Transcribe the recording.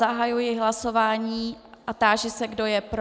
Zahajuji hlasování a táži se, kdo je pro.